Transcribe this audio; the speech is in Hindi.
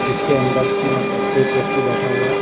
जिसके अंदर की मतलब एक व्यक्ति बैठा हुआ है।